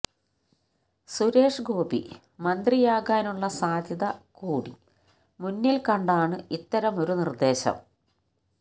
സുരേഷ് ഗോപി മന്ത്രിയാകാനുള്ള സാധ്യത കൂടി മുന്നിൽ കണ്ടാണ് ഇത്തരമൊരു നിർദ്ദേശം